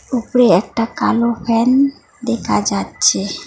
উপরে একটা কালো ফ্যান দেখা যাচ্ছে।